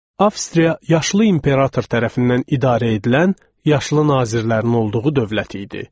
Avstriya yaşlı İmperator tərəfindən idarə edilən, yaşlı nazirlərin olduğu dövlət idi.